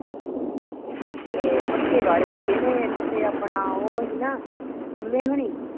ਏ ਭੱਠੇ ਵਾਲੇ ਕਿਹੜੇ ਇੱਕ ਤੇ ਆਪਣਾ ਓਹ ਹੀ ਨਾ ਪੰਮੇ ਹੋਣੀ।